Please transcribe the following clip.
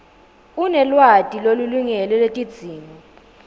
unelwati lolulingene lwetidzingo